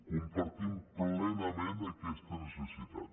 compartim plenament aquesta necessitat